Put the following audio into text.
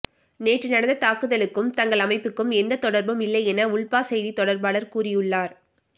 நேற்று நடந்த தாக்குதலுக்கும் தங்கள் அமைப்புக்கும் எந்த தொடர்பும் இல்லை என உல்பா செய்தி தொடர்பாளர் கூறியுள்ளார்